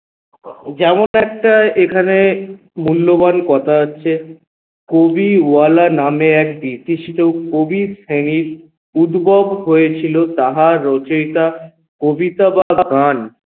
যেমন একটা এখানে মূল্যবান কথা আছে কবিওয়ালা নামে এক কবির শ্রেণীর উদ্ভব হয়েছিল তাহার রচয়িতা কবিতা বা গান